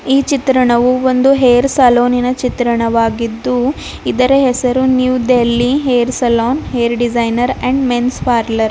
ಈ ಚಿತ್ರಣವು ಒಂದು ಹೇರ್ ಸಲೂನಿ ನ ಚಿತ್ರಣವಾಗಿದ್ದು ಇದರ ಹೆಸರು New Delhi hair salon hair designer and men's parlour .